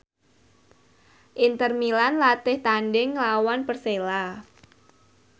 Inter Milan latih tandhing nglawan Persela